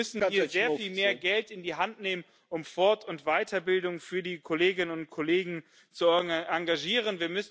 Wir müssen hier sehr viel mehr Geld in die Hand nehmen, um Fort und Weiterbildung für die Kolleginnen und Kollegen zu arrangieren.